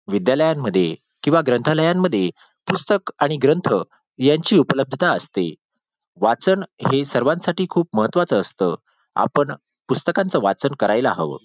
विद्यालयांमध्ये किंवा ग्रंथालयांमध्ये पुस्तक आणि ग्रंथ यांची उपलब्धता असते वाचन हे सर्वांसाठी खूप महत्त्वाच असत आपण पुस्तकांचे वाचन करायला हवं.